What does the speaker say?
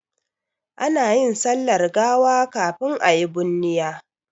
Ana yin sallar gawa kafin a yi bunniya.